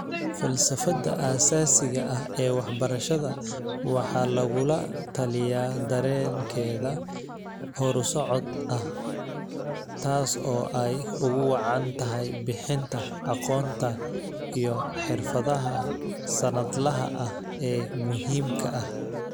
Falsafada aasaasiga ah ee waxbarashada waxaa lagula taliyaa dareenkeeda horusocod ah, taas oo ay ugu wacan tahay bixinta aqoonta iyo xirfadaha sannadlaha ah ee muhiimka ah.